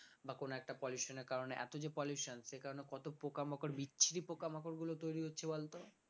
বা কোন একটা pollution এর কারণে এত যে pollution সে কারণে কত পোকামাকড় বিচ্ছিরি পোকামাকড় গুলো তৈরি হচ্ছে বলতো